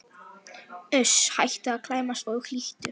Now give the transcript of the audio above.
Uss, hættu að klæmast og hlýddu!